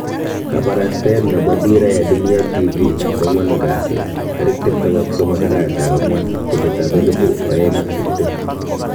Kabarastaet nebo Dira ya Dunia Tv koan'gwan kasi 23/4/2020